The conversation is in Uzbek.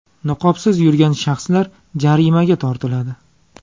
Niqobsiz yurgan shaxslar jarimaga tortiladi.